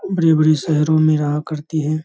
बड़ी बड़ी शहरों मे रहा करती है।